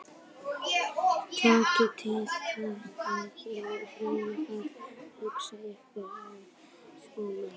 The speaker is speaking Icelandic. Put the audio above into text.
Takið til hendinni, drengir, og reynið að haga ykkur eins og menn.